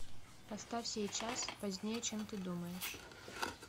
поставь сейчас позднее чем ты думаешь